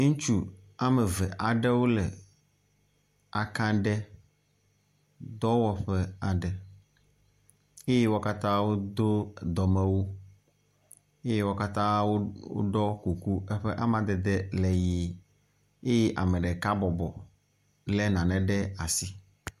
Ŋutsu woameve aɖewo le aka ɖe dɔwɔƒe aɖe eye wo katã wodo dɔmewu eye wo katã woɖɔ kuku eƒe amadede le ʋi eye ame ɖeka bɔbɔ lé nane ɖe asi.